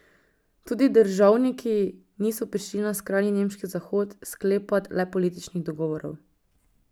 Tudi državniki niso prišli na skrajni nemški zahod sklepat le političnih dogovorov.